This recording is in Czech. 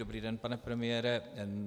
Dobrý den, pane premiére.